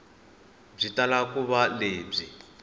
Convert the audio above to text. byi tala ku va lebyi